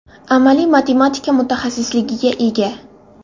Amaliy matematika mutaxassisligiga ega.